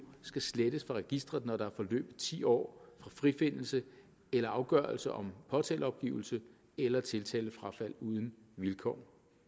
skal slettes fra registeret når der er forløbet ti år fra frifindelse eller afgørelse om påtaleopgivelse eller tiltalefrafald uden vilkår